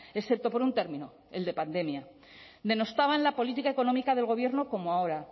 excepto por un término el de pandemia denostaban la política económica del gobierno como ahora